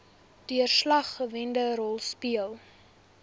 deurslaggewende rol speel